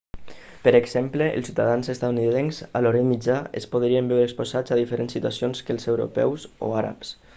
per exemple els ciutadans estatunidencs a l'orient mitjà es podrien veure exposats a diferents situacions que els europeus o àrabs